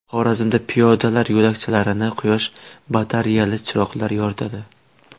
Xorazmda piyodalar yo‘lakchalarini quyosh batareyali chiroqlar yoritadi.